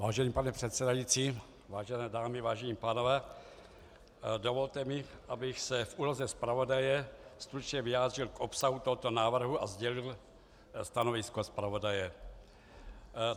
Vážený pane předsedající, vážené dámy, vážení pánové, dovolte mi, abych se v úloze zpravodaje stručně vyjádřil k obsahu tohoto návrhu a sdělil stanovisko zpravodaje.